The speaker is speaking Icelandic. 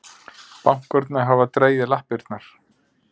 Bankarnir hafa dregið lappirnar